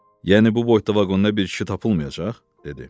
Yəni bu boyda vaqonda bir kişi tapılmayacaq? dedi.